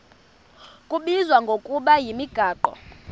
kubizwa ngokuba yimigaqo